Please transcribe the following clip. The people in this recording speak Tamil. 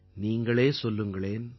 நீங்களே சொல்லுங்களேன்